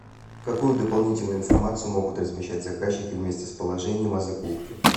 какую дополнительную информацию могут размещать заказчики вместе с положением о закупке